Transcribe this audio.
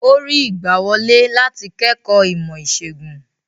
Ó rí ìgbàwọlé láti kẹ́kọ̀ọ́ ìmọ̀-ìṣègùn?